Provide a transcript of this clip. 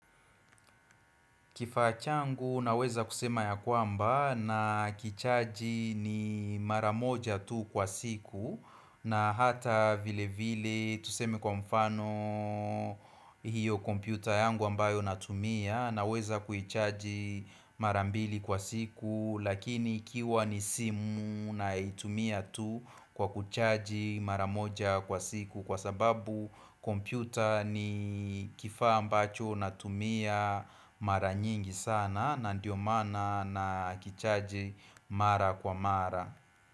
Kifaa changu naweza kusema ya kwamba na kichaji ni maramoja tu kwa siku na hata vile vile tuseme kwa mfano hiyo kompyuta yangu ambayo natumia na weza kuchaji mara mbili kwa siku Lakini ikiwa ni simu naitumia tu kwa kuchaji mara moja kwa siku Kwa sababu kompyuta ni kifa ambacho natumia mara nyingi sana na ndio mana na kichaji mara kwa mara.